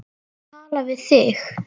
Tala við þig.